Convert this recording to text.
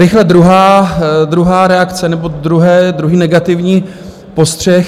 Rychle druhá reakce nebo druhý negativní postřeh.